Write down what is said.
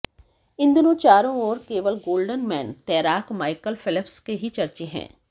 इन दिनों चारों ओर केवल गोल्डेन मैन तैराक माइकल फेलप्स के ही चर्चे हैं